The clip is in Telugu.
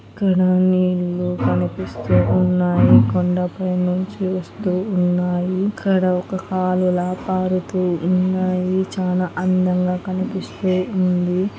ఇక్కడ నీళ్లు కనిపిస్తూ ఉన్నాయి. కొండపై నుంచి వస్తూ ఉన్నాయి. ఇక్కడ ఒక కాలవల పారుతూ ఉన్నాయి. చానా అందంగా కనిపిస్తూ ఉంది.గోడలు ఉన్నాయి. చెట్టు--